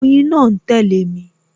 Oyin náà ń tẹle mi